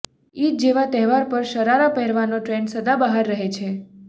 ઇદ જેવા તહેવાર પર શરારા પહેરવાનો ટ્રેન્ડ સદાબહાર રહે છે